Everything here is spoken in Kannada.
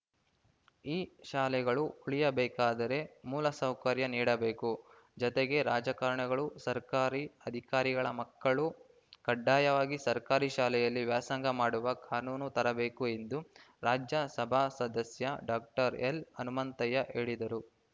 ಈ ಶಾಲೆಗಳು ಉಳಿಯಬೇಕಾದರೆ ಮೂಲಸೌಕರ್ಯ ನೀಡಬೇಕು ಜತೆಗೆ ರಾಜಕಾರಣಿಗಳು ಸರ್ಕಾರಿ ಅಧಿಕಾರಿಗಳ ಮಕ್ಕಳು ಕಡ್ಡಾಯವಾಗಿ ಸರ್ಕಾರಿ ಶಾಲೆಗಳಲ್ಲಿ ವ್ಯಾಸಂಗ ಮಾಡುವ ಕಾನೂನು ತರಬೇಕು ಎಂದು ರಾಜ್ಯಸಭಾ ಸದಸ್ಯ ಡಾಕ್ಟರ್ ಎಲ್‌ಹನುಮಂತಯ್ಯ ಹೇಳಿದರು